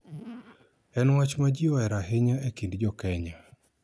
En wach ma ji ohero ahinya e kind jo Kenya.